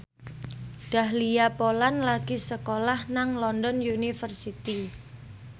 Dahlia Poland lagi sekolah nang London University